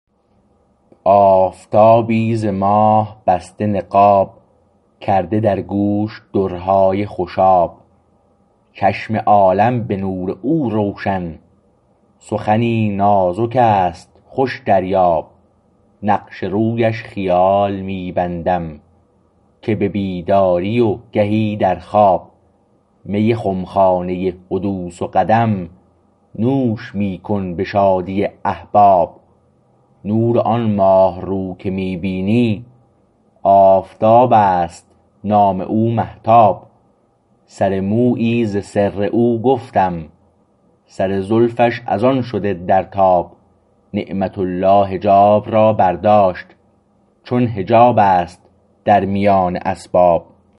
آفتابی ز ماه بسته نقاب کرده در گوش درهای خوشاب چشم عالم به نور او روشن سخنی نازک است خوش دریاب نقش رویش خیال می بندم که به بیداری و گهی در خواب می خمخانه حدوث و قدم نوش می کن به شادی احباب نور آن ماهرو که می بینی آفتابست نام او مهتاب سر مویی ز سر او گفتم سر زلفش از آن شده در تاب نعمت الله حجاب را برداشت چون حجاب است در میان اسباب